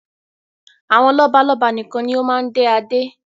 Àwọn lọ́balọ́ba nikan ni wọn máa ń dé Adé